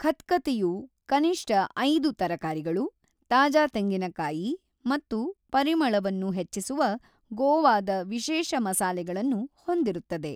ಖತ್ಖತೆಯು ಕನಿಷ್ಟ ಐದು ತರಕಾರಿಗಳು, ತಾಜಾ ತೆಂಗಿನಕಾಯಿ ಮತ್ತು ಪರಿಮಳವನ್ನು ಹೆಚ್ಚಿಸುವ ಗೋವಾದ ವಿಶೇಷ ಮಸಾಲೆಗಳನ್ನು ಹೊಂದಿರುತ್ತದೆ.